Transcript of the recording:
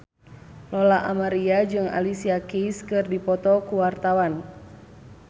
Lola Amaria jeung Alicia Keys keur dipoto ku wartawan